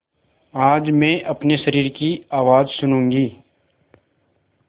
आज मैं अपने शरीर की आवाज़ सुनूँगी